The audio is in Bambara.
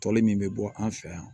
Tɔli min bɛ bɔ an fɛ yan